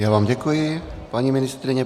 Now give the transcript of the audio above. Já vám děkuji, paní ministryně.